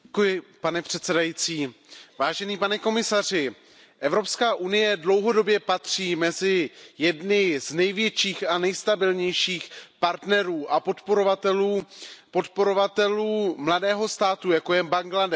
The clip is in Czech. Pane předsedající, pane komisaři, Evropská unie dlouhodobě patří mezi jedny z největších a nejstabilnějších partnerů a podporovatelů mladého státu, jako je Bangladéš.